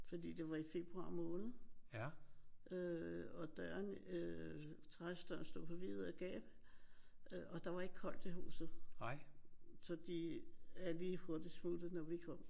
Fordi det var i februar måned øh og døren øh terrassedøren stod på vid gab og der var ikke koldt i huset. Så de er lige hurtigt smuttet når vi kom